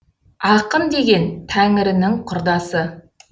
ақын деген тәңірінің құрдасы